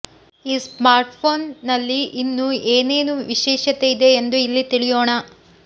ಈ smart phone ನಲ್ಲಿ ಇನ್ನೂ ಏನೇನು ವಿಶೇಷತೆಯಿದೆ ಎಂದು ಇಲ್ಲಿ ತಿಳಿಯೋಣ